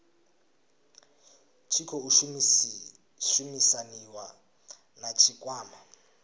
tshi khou shumisaniwa na tshikwama